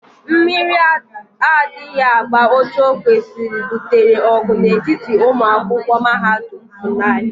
Mmiri adaghi agba Otu okwesiri gbutere ogu n'etiti umuakwokwu mahadum FUNAI.